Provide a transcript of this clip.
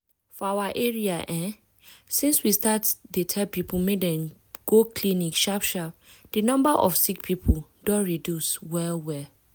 for our area[um]since we start dey tell people make dem go clinic sharp sharp di number of sick people don reduce well well.